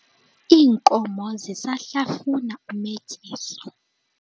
Inkomo zisahlafuna umetyiso.